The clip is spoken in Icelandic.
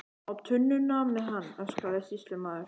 Á tunnuna með hann, öskraði sýslumaður.